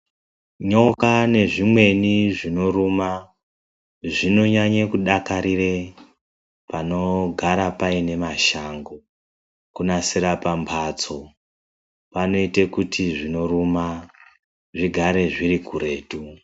Nyoka nezvimweni zvinoruma zvinonyanye kudakarira panogara paine mashango. Kunasira pamhatso kunoita kuti zvinoruma zvigare zviri kuretu.